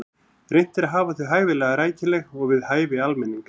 Reynt er að hafa þau hæfilega rækileg og við hæfi almennings.